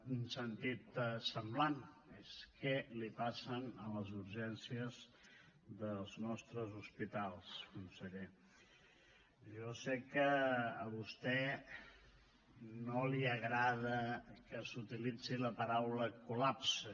en un sentit semblant és què els passa a les urgències dels nostres hospitals conseller jo sé que a vostè no li agrada que s’utilitzi la paraula col·lapse